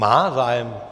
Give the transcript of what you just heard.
Má zájem?